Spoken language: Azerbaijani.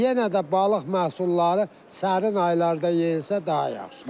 Yenə də balıq məhsulları sərin aylarda yeyilsə daha yaxşı.